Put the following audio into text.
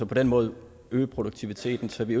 på den måde øge produktiviteten så vi